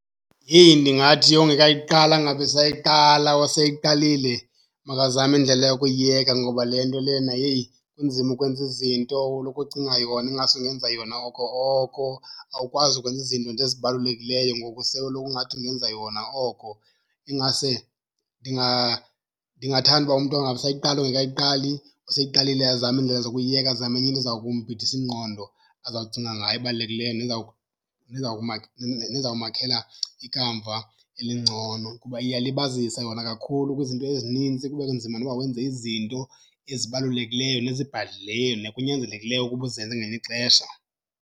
Heyi, ndingathi ongekayiqali angabi sayiqala, oseyiqalile makazame indlela yokuyiyeka ngoba le nto lena, heyi, kunzima ukwenza izinto ulokhu ucinga yona ingase ungenza yona oko oko. Awukwazi ukwenza izinto nje ezibalulekileyo ngoku sewuloko ungathi ungenza yona oko. Ingase ndingathanda uba umntu angabi sayiqala ongekayiqali, oseyiqalile azame iindlela zokuyiyeka azame enye into eza kumbhidisa ingqondo azawucinga ngayo ebalulekileyo nezawumakhela ikamva elingcono. Kuba iyalibazisa yona kakhulu kwizinto ezinintsi, kube nzima noba wenze izinto ezibalulekileyo nezibhadlileyo nekunyanzelekileyo ukuba uzenze ngelinye ixesha.